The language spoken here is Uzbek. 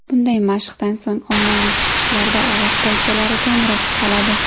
Bunday mashqdan so‘ng ommaviy chiqishlarda ovoz paychalari kamroq toladi.